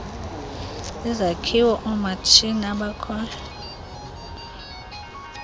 izakhiwo oomatshini abakhoyo